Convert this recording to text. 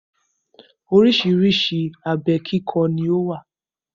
Oríṣiríṣi abẹ kíkọ ni ó wà.